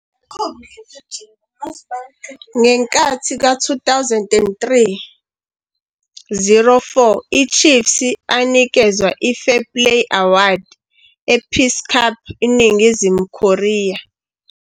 Ngenkathi ka-2003-04 i-Chiefs anikezwa i-Fair Play Award e-Peace Cup INingizimu Korea.